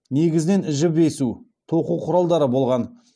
негізінен жіп есу тоқу құралдары болған